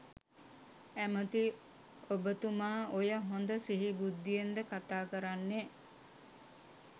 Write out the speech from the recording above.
ඇමති ඔබතුමා ඔය හොඳ සිහි බුද්ධියෙන්ද කතා කරන්නේ.